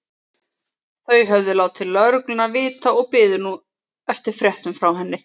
Þau höfðu látið lögregluna vita og biðu nú eftir fréttum frá henni.